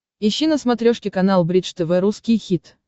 ищи на смотрешке канал бридж тв русский хит